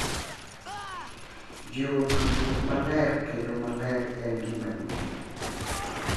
Jiwo tudruok maler kendo maler en gima duong’